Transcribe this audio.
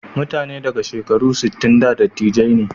Mutane daga shekaru sittin da dattijai ne.